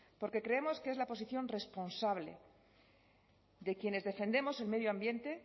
porque creemos que es la posición responsable de quienes defendemos el medio ambiente